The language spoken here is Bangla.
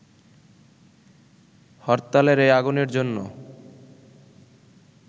হরতালের এই আগুনের জন্য